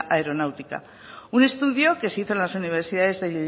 aeronáutica un estudio que se hizo en las universidades de